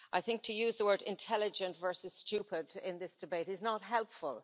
I think to use the words intelligent' versus stupid' in this debate is not helpful.